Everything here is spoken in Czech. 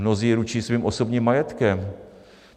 Mnozí ručí svým osobním majetkem.